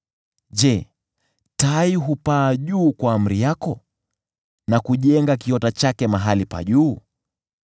Je, tai hupaa juu kwa amri yako na kujenga kiota chake mahali pa juu?